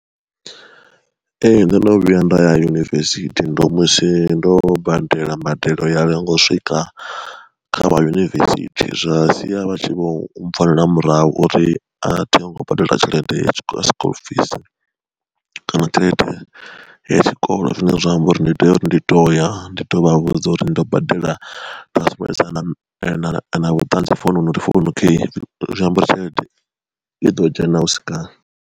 Ee ndono vhuya nda ya yunivesithi ndo musi ndo badela mbadelo ya lenga u swika kha vha yunivesithi, zwa sia vha tshi vho mpfonela murahu uri a thi ngo badela tshelede ya sikuḽufisi kana tshelede ya tshikolo zwine zwa amba uri ndi tea uri ndi to ya ndi to vha vhudza uri ndo badela na vhuṱanzi foununu uri founi kheyi zwiambari tshelede i ḓo dzhena husi kale.